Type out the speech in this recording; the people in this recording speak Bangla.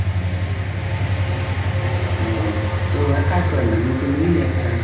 ও তো এক কাজ কর না, নতুন নিয়ে নে একটা।